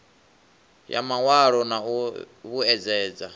ya mawalo na u vhuedzedza